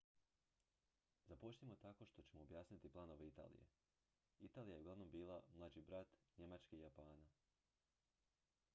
"započnimo tako što ćemo objasniti planove italije. italija je uglavnom bila "mlađi brat" njemačke i japana.